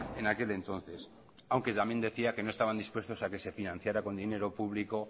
en aquel entonces aunque también decía que no estaban dispuestos a que se financiara con dinero público